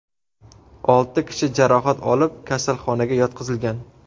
Olti kishi jarohat olib, kasalxonaga yotqizilgan.